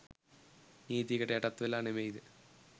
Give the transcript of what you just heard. නීතියකට යටත් වෙලා නෙමෙයිද?